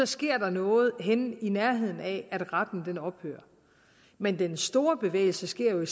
sker noget henne i nærheden af at retten ophører men den store bevægelse sker jo i